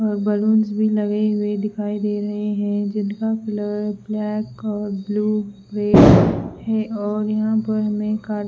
balloons भी लगे हुए दिखाई दे रहे हैं जिनका कलर ब्लैक और ब्लू रेड है और यहां पर --